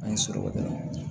An ye sɔrɔba kɛ dɔrɔn